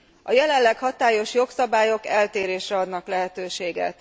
A jelenleg hatályos jogszabályok eltérésre adnak lehetőséget.